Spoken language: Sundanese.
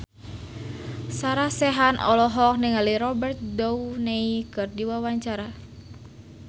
Sarah Sechan olohok ningali Robert Downey keur diwawancara